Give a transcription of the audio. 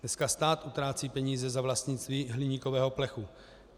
Dneska stát utrácí peníze na vlastnictví hliníkového plechu.